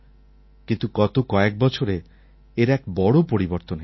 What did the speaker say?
কিন্তু গত কয়েক বছরে এর এক বড়ো পরিবর্তন এসেছে